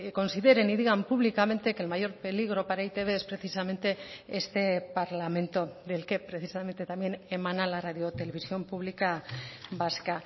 consideren y digan públicamente que el mayor peligro para e i te be es precisamente este parlamento del que precisamente también emana la radio televisión pública vasca